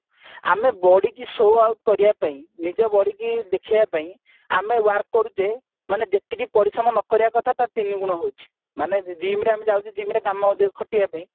ଆମେ body କୁ show off କରିବା ପାଇଁ ନିଜ body କି ଦେଖେଇବା ପାଇଁ ଆମେ work କରୁଛେ ମାନେ ଯେତିକି ପରିଶ୍ରମ ନ କରିବା କଥା ତାର ତିନି ଗୁଣ ହଉଛି ମାନେ gymରେ ଆମେ ଯାଉଛେ gymରେ ଅଧିକ ଖଟିବା ପାଇଁ